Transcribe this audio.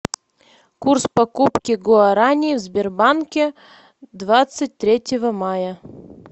курс покупки гуарани в сбербанке двадцать третьего мая